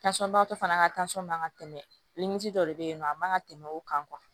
fana ka man ka tɛmɛ dɔ de be yen nɔ a man ka tɛmɛ o kan